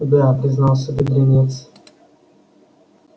да признался бедренец